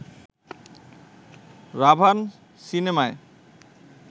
'রাভান' সিনেমায়